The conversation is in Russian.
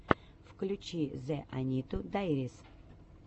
включи зэ аниту дайрис